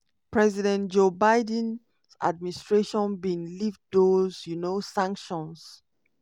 president joe biden administration bin lift those um sanctions.